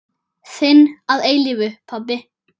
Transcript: Þinn að eilífu, pabbi.